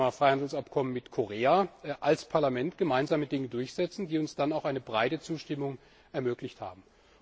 beim Thema Freihandelsabkommen mit Korea als Parlament gemeinsame Dinge durchsetzen, die uns dann auch eine breite Zustimmung ermöglicht haben.